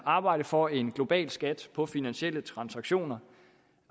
arbejdet for en global skat på finansielle transaktioner